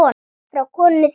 Frá konunni þinni?